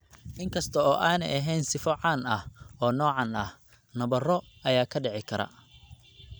Inkasta oo aanay ahayn sifo caan ah oo noocaan ah, nabaro ayaa dhici karta.